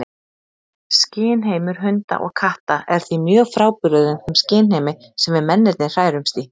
Skynheimur hunda og katta er því mjög frábrugðinn þeim skynheimi sem við mennirnir hrærumst í.